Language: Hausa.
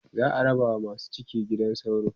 za'a raba wa masu ciki gidan sauro